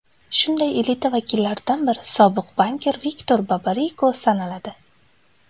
Shunday elita vakillaridan biri sobiq bankir Viktor Babariko sanaladi.